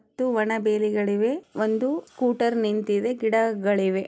ಮತ್ತು ಒಣ ಬೇರುಗಳಿವೆ ಒಂದು ಕೂಟರ್ ನಿಂತಿದೆ ಗಿಡಗಳಿವೆ.